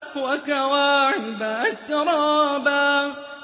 وَكَوَاعِبَ أَتْرَابًا